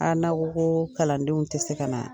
n'a' ko ko kalandenw tɛ se ka na.